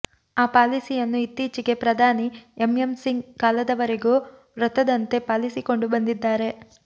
ಆ ಪಾಲಿಸಿಯನ್ನು ಇತ್ತೀಚೆಗೆ ಪ್ರಧಾನಿ ಎಂಎಂ ಸಿಂಗ್ ಕಾಲದವರೆಗೂ ವ್ರತದಂತೆ ಪಾಲಿಸಿಕೊಂಡು ಬಂದಿದ್ದಾರೆ